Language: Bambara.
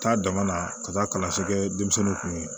Taa dama na ka taa kalanso kɛ denmisɛnninw kun